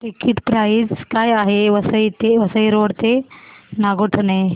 ticket price काय आहे Vasai road ते नागोठणे